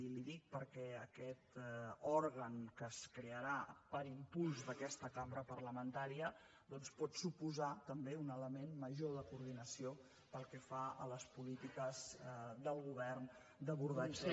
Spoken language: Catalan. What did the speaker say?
li ho dic perquè aquest òrgan que es crearà per impuls d’aquesta cambra parlamentària pot suposar també un element major de coordinació pel que fa a les polítiques del govern d’abordatge